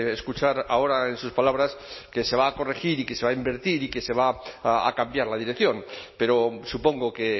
escuchar ahora en sus palabras que se va a corregir y que se va a invertir y que se va a cambiar la dirección pero supongo que